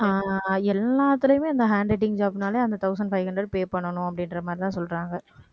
அஹ் எல்லாத்துலயுமே அந்த handwriting job னாலே அந்த thousand five hundred pay பண்ணணும் அப்படின்ற மாதிரிதான் சொல்றாங்க